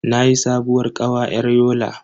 Nayi sabuwar kawa yar Yola.